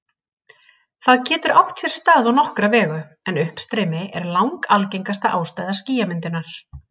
Það getur átt sér stað á nokkra vegu, en uppstreymi er langalgengasta ástæða skýjamyndunar.